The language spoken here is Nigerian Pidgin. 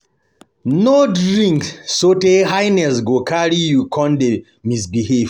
No drink sotey higness go carry you come dey misbehave